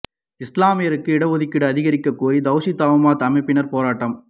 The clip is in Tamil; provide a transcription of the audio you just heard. இஸ்லாமியருக்கு இட ஒதுக்கீடு அதிகரிக்க கோரி தவ்ஹீத் ஜமாத் அமைப்பினர் போராட்டம்